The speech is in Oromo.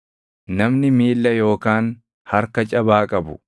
namni miilla yookaan harka cabaa qabu,